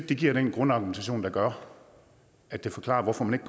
det giver den grundargumentation der gør at det forklarer hvorfor man